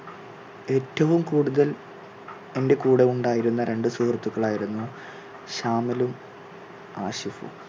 ഏറ്റവും കൂടുതൽ എന്റെ കൂടെ ഉണ്ടായിരുന്ന രണ്ട് സുഹൃത്തുക്കൾ ആയിരുന്നു ഷാമിലും, ആഷിഫും.